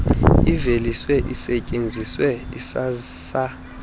iveliswe isetyenziswe isasazwe